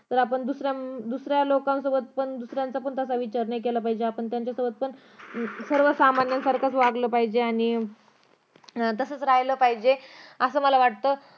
तर आपण अं दुसऱ्या लोकांसोबत पण अं दुसऱ्याचा पण तसा विचार नाही केला पाहिजे आपण त्यांच्या सोबत पण सर्व सामान्य सारखाच वागलं पाहिजे आणि तसंच राहीलं पाहिजे असं मला वाटतं